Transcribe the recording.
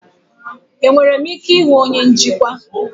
Enwere m ike ịhụ onye njikwa?